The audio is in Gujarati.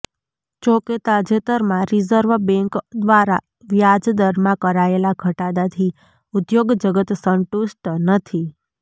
જોકે તાજેતરમાં રીઝર્વ બેન્ક દ્વારા વ્યાજ દરમાં કરાયેલા ઘટાડાથી ઉદ્યોગ જગત સંતુષ્ટ નથી